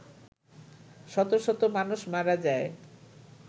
শত শত মানুষ মারা যায়